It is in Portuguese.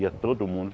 Ia todo mundo.